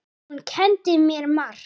Og hún kenndi mér margt.